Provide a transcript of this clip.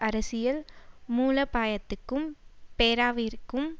அரசியல் மூலாபாயத்துக்கும் பேரவாவிற்கும்